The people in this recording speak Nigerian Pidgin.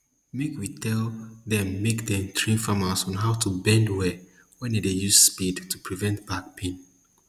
make we tell dem make dem train farmers on how to bend well when dem dey use spade to prevent back pain